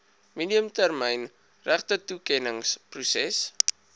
medium termyn regtetoekenningsproses